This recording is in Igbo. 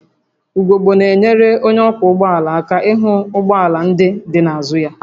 Ugogbe na-enyere onye ọkwọ ụgbọ ala aka ịhụ ụgbọ ala ndị dị n'azụ ya